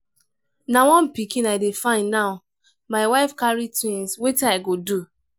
na one pikin i dey find now my wife carry twins wetin i go do?